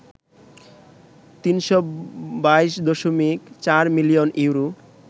৩২২.৪ million euro